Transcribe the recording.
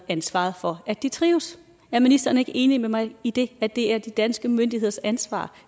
ansvaret for at de trives er ministeren ikke enig med mig i det at det er de danske myndigheders ansvar